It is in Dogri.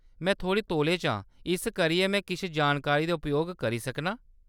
में थोह्‌ड़ी तौला च आं इस करियै में किश जानकारी दा उपयोग करी सकनां।